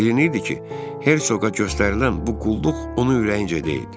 Bilinirdi ki, Hersoqa göstərilən bu qulluq onun ürəyincə deyildi.